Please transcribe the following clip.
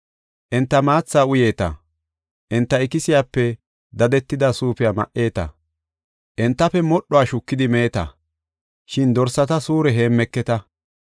Enta maatha uyeeta; enta ikisiyape dadetida suufiya ma77eeta; entafe modhuwa shukidi meeta; shin dorsata suure heemmeketa.